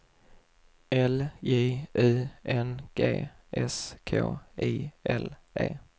L J U N G S K I L E